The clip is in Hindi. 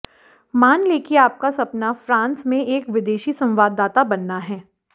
मान लें कि आपका सपना फ्रांस में एक विदेशी संवाददाता बनना है